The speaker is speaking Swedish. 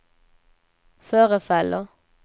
förefaller